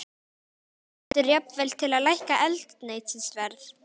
Helga: Stendur jafnvel til að lækka eldsneytisverð?